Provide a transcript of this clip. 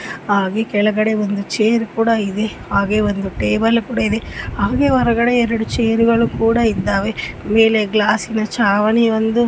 ಹಾಗೆ ಕೆಳಗಡೆ ಒಂದ್ ಚೆರ್ ಕೂಡ ಇದೆ ಹಾಗೆ ಒಂದ್ ಟೇಬಲ್ ಕೂಡ ಇದೆ ಹಾಗೆ ಹೊರಗಡೆ ಎರೆಡು ಚೆರ್ಗಳು ಕೂಡ ಇದ್ದಾವೆ ಮೇಲೆ ಗ್ಲಾಸ್ಸಿನ ಚಾವಣಿ ಒಂದು --